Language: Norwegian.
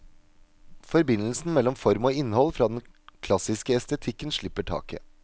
Forbindelsen mellom form og innhold fra den klassiske estetikken slipper taket.